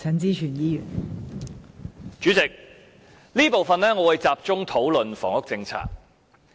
代理主席，這部分我會集中討論房屋政策。